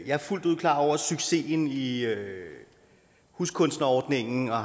jeg er fuldt ud klar over succesen i huskunstnerordningen og